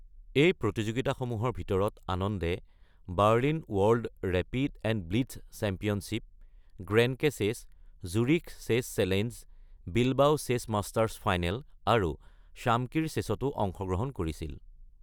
এই প্ৰতিযোগিতাসমূহৰ ভিতৰত আনন্দে Berlin world rapid and blitz championship, Grenke chess, Zurich chess challenge, Bilbao chess masters final আৰু শ্বামকিৰ চেচতো অংশগ্ৰহণ কৰিছিল।